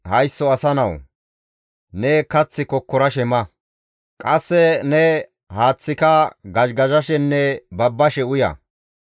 «Haysso asa nawu! Ne kath kokkorashe ma; qasse ne haaththaaka gazhigazhashenne babbashe uya.